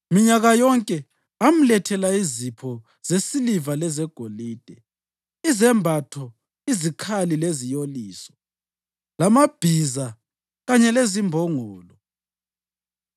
Minyaka yonke amlethela izipho zesiliva lezegolide, izembatho, izikhali leziyoliso, lamabhiza kanye lezimbongolo.